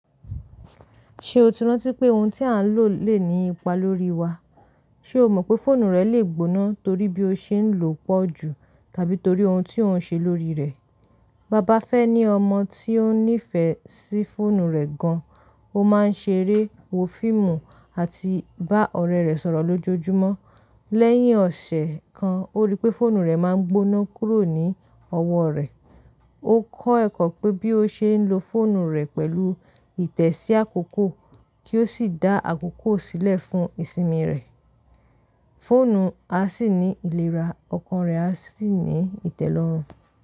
Ṣe o ti rántí pé oun tí a ń lò lè ní ipa lórí wa? Ṣe o mọ̀ pé fóònù rẹ lè gbóná torí bí o ṣe ń lò ó pọ̀ jù tàbí torí oun tí ò ń ṣe lórí rẹ̀? Ba ba Fẹ́ ní ọmọ tí ó nífẹ̀ẹ́ sí fóònù rẹ̀ gan. Ó máa ń ṣeré, wo fíìmù, àti bá ọ̀rẹ́ rẹ̀ sọ̀rọ̀ lójoojúmọ́. Lẹ́yìn ọ̀sẹ̀ kan, ó rí pé fóònù rẹ̀ máa ń gbóná kúrò ní ọwọ́ rẹ̀. Ó kọ́ ẹ̀kọ́ pé bí ó ṣe ń lo fóònù rẹ̀ pẹ̀lú ìtẹ̀sí àkókò, kí ó sì dá àkókò sílẹ̀ fún ìsinmi rẹ̀. Fóònù á sì ní ìlera, ọkàn rẹ̀ á sì ní ìtẹ́lọ́rùn.